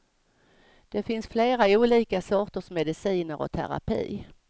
Det finns flera olika sorters mediciner och terapi.